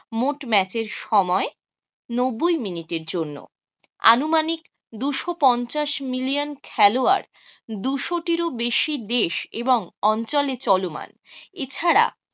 মোট match এর সময় নব্বই মিনিটের জন্যে। আনুমানিক দুশো পঞ্চাশ মিলিয়ন খেলোয়াড় দুশো টিরও বেশি দেশ এবং অঞ্চলে চলমান। এছাড়া